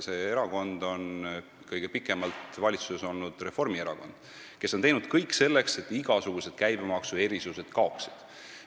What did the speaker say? See erakond on kõige pikemalt valitsuses olnud Reformierakond, kes on teinud kõik selleks, et igasugused käibemaksuerisused kaoksid.